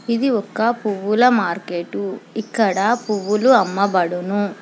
ఇది ఒక్క పువ్వుల మార్కెట్టు ఇక్కడ పువ్వులు అమ్మబడును.